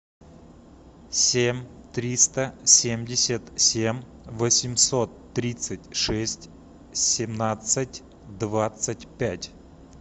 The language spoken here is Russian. семь триста семьдесят семь восемьсот тридцать шесть семнадцать двадцать пять